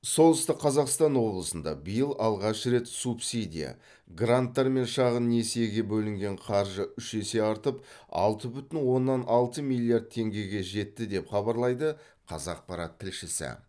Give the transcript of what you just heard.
солтүстік қазақстан облысында биыл алғаш рет субсидия гранттар мен шағын несиеге бөлінген қаржы үш есе артып алты бүтін оннан алты миллиард теңгеге жетті деп хабарлайды қазақпарат тілшісі